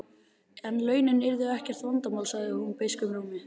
En launin yrðu ekkert vandamál, sagði hún beiskum rómi.